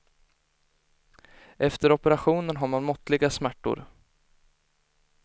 Efter operationen har man måttliga smärtor.